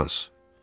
Qulaq as.